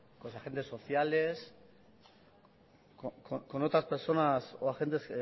los agentes sociales con otras personas o agentes